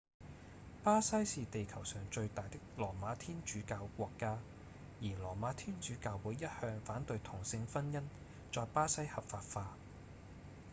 巴西是地球上最大的羅馬天主教國家而羅馬天主教會一向反對同性婚姻在巴西合法化